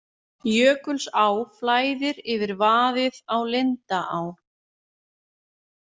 Jökulsá flæðir yfir vaðið á Lindaá